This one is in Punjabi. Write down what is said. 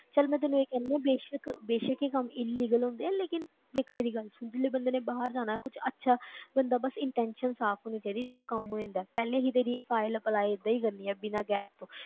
ਚੱਲ ਮੈਂ ਤੈਨੂੰ ਇਹ ਕਹਿੰਦੀ ਹਾਂ ਬੇਸ਼ਕ ਬੇਸ਼ਕ ਇਹ ਕੰਮ illegal ਹੁੰਦੇ ਹੈ ਲੇਕਿੰਨ ਦੇਖ ਮੇਰੀ ਗੱਲ ਸੁਣ ਹੁਣ ਜਿੱਦਾਂ ਮੈਨੇ ਬਾਹਰ ਜਾਣਾ ਹੈ, ਕੁਛ ਅੱਛਾ ਬੰਦਾ ਬਸ intention ਸਾਫ਼ ਹੋਣੀ ਚਾਹੀਦੀ ਸਭ ਕੰਮ ਹੋ ਜਾਂਦਾ ਹੈ, ਪਹਿਲੇ ਹੀ ਤੇਰੀ file apply ਏਦਾਂ ਹੀ ਕਰਨੀ ਹੈ, ਬਿਨਾਂ gap ਤੋਂ